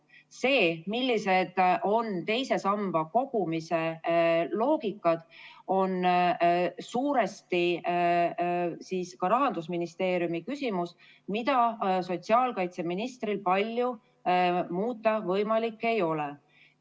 See, milline on teise samba kogumise loogika, on suuresti Rahandusministeeriumi küsimus, mida sotsiaalkaitseministril ei ole võimalik palju muuta.